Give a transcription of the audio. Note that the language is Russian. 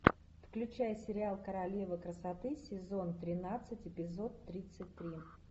включай сериал королева красоты сезон тринадцать эпизод тридцать три